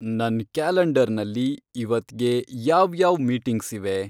ನನ್ ಕ್ಯಾಲೆಂಡರ್ನಲ್ಲಿ ಇವತ್ಗೆ ಯಾವ್ಯಾವ್ ಮೀಟಿಂಗ್ಸಿವೆ